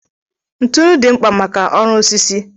ntụnụ dị mkpa maka ọrụ osisi